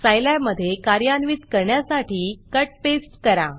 Scilab मधे कार्यान्वित करण्यासाठी कट पेस्ट करा